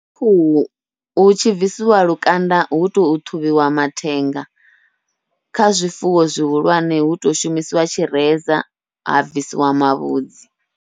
Kha khuhu hu tshi bvisiwa lukanda hu to ṱhuvhiwa mathenga, kha zwifuwo zwihulwane hu to shumisiwa tshireza ha bvisiwa mavhudzi.